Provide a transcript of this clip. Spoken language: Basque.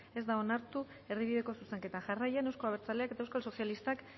ez da onartu erdibideko zuzenketa jarraian euzko abertzaleak eta eusko sozialistak